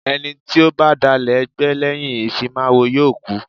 Ẹni tí ó bá dalẹ̀ ẹgbẹ́ lẹ́yìn ìfimáwo yóò kú.